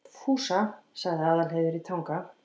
Fúsa, sagði Aðalheiður í Tanga.